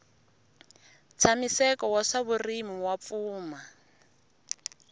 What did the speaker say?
ntshamiseko wa swa vurimi wa pfuma